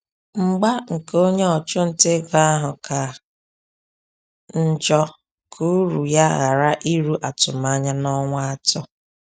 Mgba nke onye ọchụnta ego ahụ ka njọ ka uru ya ghara iru atụmanya n’ọnwa atọ.